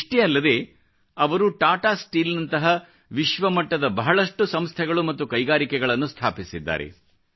ಇಷ್ಟೆ ಅಲ್ಲದೇ ಅವರು ಟಾಟಾ ಸ್ಟೀಲ್ ನಂತಹ ವಿಶ್ವಮಟ್ಟದ ಬಹಳಷ್ಟು ಸಂಸ್ಥೆಗಳು ಮತ್ತು ಕೈಗಾರಿಕೆಗಗಳನ್ನು ಸ್ಥಾಪಿಸಿದ್ದಾರೆ